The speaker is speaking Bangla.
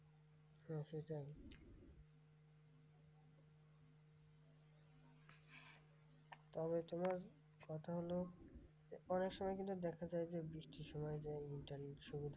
তবে তোমার কথা হল যে অনেকসময় কিন্তু দেখা যায় যে, বৃষ্টির সসময় যা internet slow থাকে।